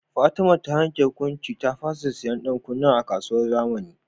Fatima ta yanke hukuncin ta fasha siyan dan kunnan a kasuwar zamani